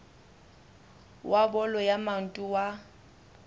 wa bolo ya maoto wa